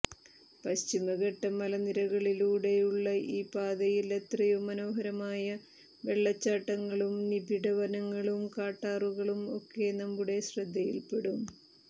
പശ്ചിമഘട്ട മലനിരകളിലൂടെയുള്ള ഈ പാതയിൽ എത്രയോ മനോഹരമായ വെള്ളച്ചാട്ടങ്ങളും നിബിഡ വനങ്ങളും കാട്ടാറുകളും ഒക്കെ നമ്മുടെ ശ്രദ്ധയിൽപ്പെടും